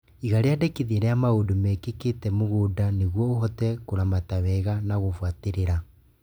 Iga rĩandĩkithia rĩa maũndũ mekĩkĩte mũgũnda nĩguo ũhote kũramata wega na gũbuatĩrĩra